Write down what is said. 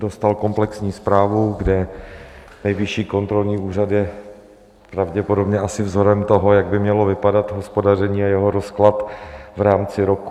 Dostal komplexní zprávu, kde Nejvyšší kontrolní úřad je pravděpodobně asi vzorem toho, jak by mělo vypadat hospodaření a jeho rozklad v rámci roku.